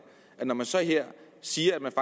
og man så her siger at man